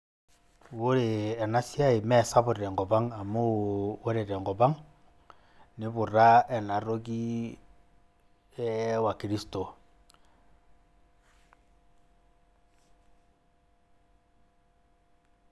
Ore ena siai meesapuk tenkop ang, amuu ore tenkop ang neiputa ena toki ee wakristo